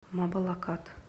мабалакат